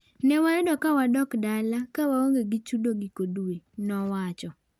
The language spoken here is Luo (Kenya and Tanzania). "Ne wayudo ka wadok dala ka waonge gi chudo giko dwe." nowacho